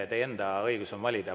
Teil on õigus valida.